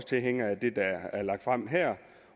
tilhængere af det der er lagt frem her